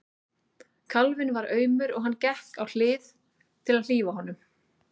Kálfinn var aumur og hann gekk á hlið til að hlífa honum.